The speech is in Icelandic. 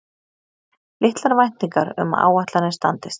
Litlar væntingar um að áætlanir standist